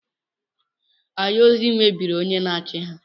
Ayozi mebiri onye na-achị ya.